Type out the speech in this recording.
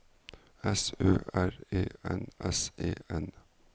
S Ø R E N S E N